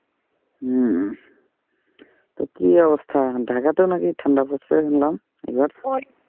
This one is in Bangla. উম তা কি অবস্থা ঢাকাতেও নাকি ঠান্ডা পড়ছে শুনলাম এবার।